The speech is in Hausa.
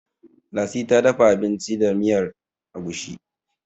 lasi ta dafa abinci da miyar agushi